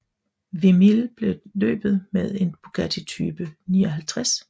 Wimille vandt løbet med en Bugatti Type 59